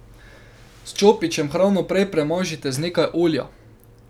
S čopičem hrano prej premažite z nekaj olja.